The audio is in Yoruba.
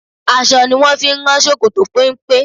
Aṣọ ni wón fi ń rán ṣòkòtò péńpé.